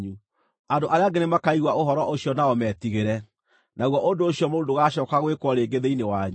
Andũ arĩa angĩ nĩmakaigua ũhoro ũcio nao metigĩre, naguo ũndũ ũcio mũũru ndũgacooka gwĩkwo rĩngĩ thĩinĩ wanyu.